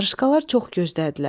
Qarışqalar çox gözdədilər.